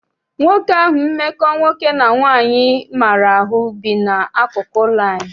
Nwoke ahụ mmekọ nwoke na nwaanyị maara ahụ bi n'akụkụ ụlọ anyị.